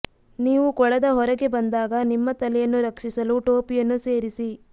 ನೀವು ಕೊಳದ ಹೊರಗೆ ಬಂದಾಗ ನಿಮ್ಮ ತಲೆಯನ್ನು ರಕ್ಷಿಸಲು ಟೋಪಿಯನ್ನು ಸೇರಿಸಿ